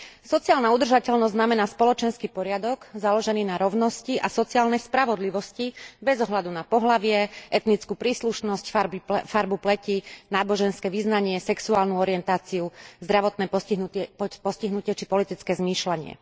Sociálna udržateľnosť znamená spoločenský poriadok založený na rovnosti a sociálnej spravodlivosti bez ohľadu na pohlavie, etnickú príslušnosť, farbu pleti, náboženské vyznanie, sexuálnu orientáciu, zdravotné postihnutie, či politické zmýšľanie.